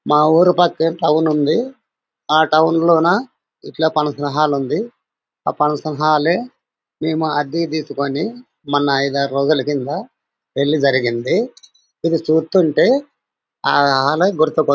మా ఊరు పక్కే టౌన్ ఉంది. ఆ టౌన్ లోన ఇట్లా ఫంక్షన్ హాల్ ఉంది. ఆ ఫంక్షన్ హాల్ లే మేము అద్దెకు తీసుకొని మొన్న ఇద్దరు రోజులు కింద పెళ్లి జరిగింది. ఇది చూత్తుంటే ఆ హాల్ లే గుర్తుకు--